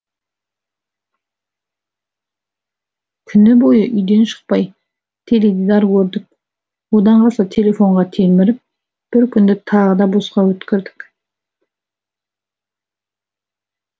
күні бойы үйден шықпай теледидар көрдік одан қалса телефонға телміріп бір күнді тағы да босқа өткірдік